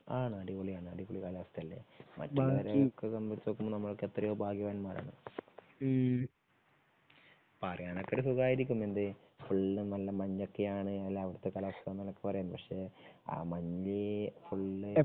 ആണ് അടിപൊളിയാണ് അടിപൊളി കാലാവസ്ഥയല്ലേ? മറ്റുള്ളവരെ ഒക്കെ സംബന്ധിച്ച് നോക്കുമ്പോ നമ്മൾ എത്രയോ ഭാഗ്യവാന്മാരാണ്. പറയാനൊക്കെ സുഖായിരിക്കും എന്തേ ഫുൾ നല്ലമഞ്ഞോക്കെ ആണ് അവിടത്തെ കാലാവസ്ഥ എന്നൊക്കെ പറയാൻ പക്ഷേ ആ മഞ്ഞ് ഫുള്ള്